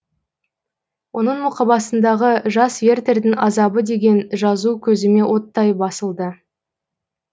оның мұқабасындағы жас вертердің азабы деген жазу көзіме оттай басылды